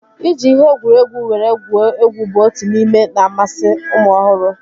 Iji ihe egwuregwu were gwuo egwu bụ otu n'ihe na-amasi ụmụ ọhụrụ